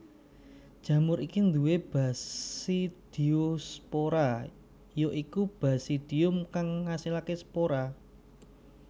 Jamur iki duwé basidiospora ya iku basidium kang ngasilaké spora